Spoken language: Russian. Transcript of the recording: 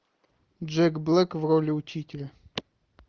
джек блэк в роли учителя